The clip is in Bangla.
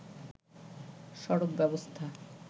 সড়ক ব্যবস্থা